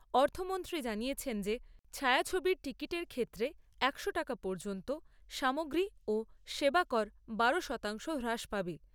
অর্থমন্ত্রী জানিয়েছেন যে ছায়াছবির টিকিটের ক্ষেত্রে একশো টাকা পর্যন্ত সামগ্রী ও সেবা কর বারো শতাংশ হ্রাস পাবে।